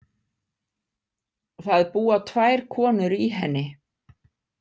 Það búa tvær konur í henni.